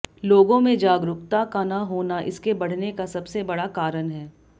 लोगों में जागरूकता का न होना इसके बढ़ने का सबसे बड़ा कारण है